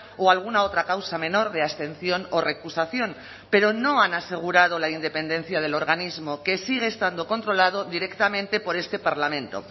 o alguna otra causa menor de abstención o recusación pero no han asegurado la independencia del organismo que sigue estando controlado directamente por este parlamento